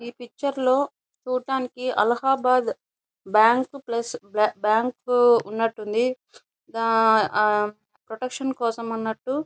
ఈ పిక్చర్ లో చూడడానికి అలహాబాద్ బ్యాంకు ప్లస్ బ బ్యాంకు ఉన్నట్టుంది దా ఆహ్ ప్రొటెక్షన్ కోసం అన్నట్టు.